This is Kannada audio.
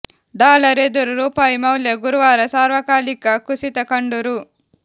ಡಾಲರ್ ಎದುರು ರೂಪಾಯಿ ಮೌಲ್ಯ ಗುರುವಾರ ಸಾರ್ವಕಾಲಿಕ ಕುಸಿತ ಕಂಡು ರೂ